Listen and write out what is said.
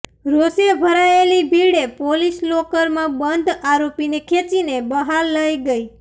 રોષે ભરાયેલી ભીડે પોલિસ લોકરમાં બંધ આરોપીને ખેંચીને બહાર લઇ ગઇ